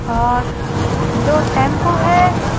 और दो टेंपो है।